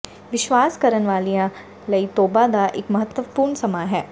ਵਿਸ਼ਵਾਸ ਕਰਨ ਵਾਲਿਆਂ ਲਈ ਤੋਬਾ ਦਾ ਇੱਕ ਮਹੱਤਵਪੂਰਣ ਸਮਾਂ ਹੈ